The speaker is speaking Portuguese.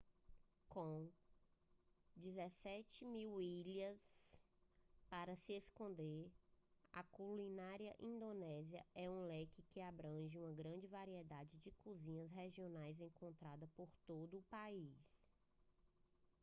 com 17.000 ilhas para se escolher a culinária indonésia é um leque que abrange uma grande variedade de cozinhas regionais encontradas por todo o país